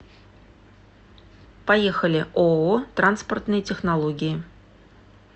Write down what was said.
поехали ооо транспортные технологии